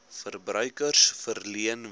verbruikers verleen wie